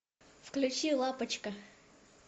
включи лапочка